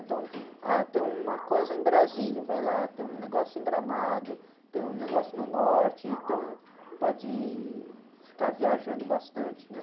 Então, ah, tem uma coisa em Brasília, vai lá, tem um negócio em Gramado, tem um negócio no Norte, então pode ficar viajando bastante, meu.